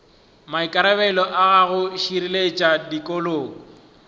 maikarabelo a go šireletša tikologo